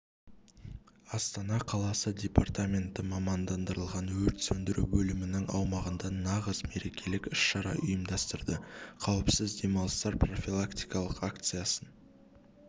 астана қаласы департаменті мамандандырылған өрт сөндіру бөлімінің аумағында нағыз мерекелік іс-шара ұйымдастырды қауіпіз демалыстар профилактикалық акциясын